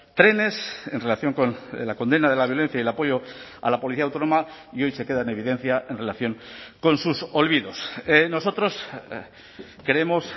trenes en relación con la condena de la violencia y el apoyo a la policía autónoma y hoy se queda en evidencia en relación con sus olvidos nosotros creemos